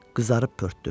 Qızarıb pörtdüm.